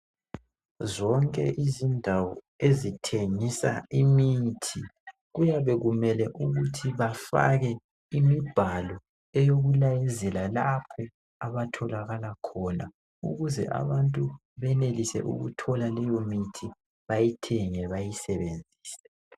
Zonke izindawo ezithengisa imithi kuyabe kumele ukuthi bafake imibhalo eyokulayezela lapho abatholakala khona ukuze abantu benelise ukuthola leyo mithi bayithenge bayisebenzise .